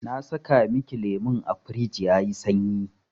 Na saka miki lemun a firij yayi sanyi.